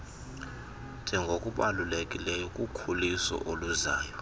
njengokubalulekileyo kukhuliso oluzayo